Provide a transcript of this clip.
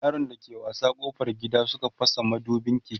yaran da ke wasa ƙofar gida Suka fasa madubin keken